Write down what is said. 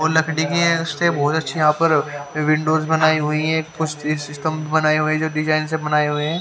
वो लकड़ी की है इसके बहोत अच्छे यहा पर विंडोस बनायी हुई है कुछ सिस्टम बनाये हुए है जो डिजाईन से बनाये हुए है।